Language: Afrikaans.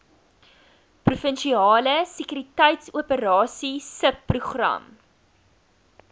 provinsiale sekuriteitsoperasies subprogram